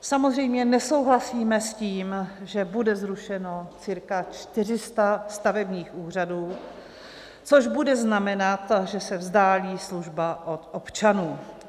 Samozřejmě nesouhlasíme s tím, že bude zrušeno cirka 400 stavebních úřadů, což bude znamenat, že se vzdálí služba od občanů.